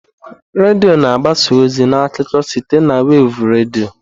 Redio na-agbasa ozi na akụkọ site na wevụ redio.